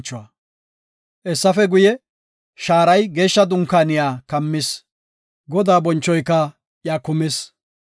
Hessafe guye, shaaray Geeshsha Dunkaaniya kammis; Godaa bonchoyka iya kumis.